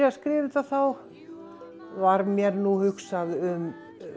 að skrifa þetta þá var mér hugsað um